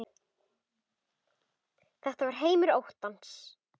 Þetta var heimur óttans.